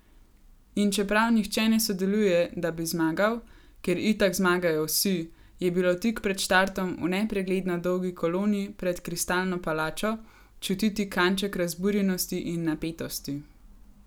In čeprav nihče ne sodeluje, da bi zmagal, ker itak zmagajo vsi, je bilo tik pred štartom v nepregledno dolgi koloni pred Kristalno palačo čutiti kanček razburjenosti in napetosti.